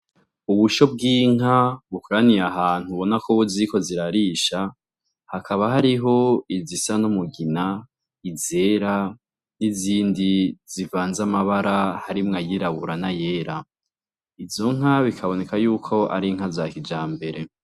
Ubusho bw'inka bukoraniye ahantu ubona ko ziriko zirarisha, hakaba hariho izisa n'umugina, izera, n'izindi zivanze amabara harimwo ayirabura n'ayera, izo nka bikaboneka yuko ar'inka za kijambere.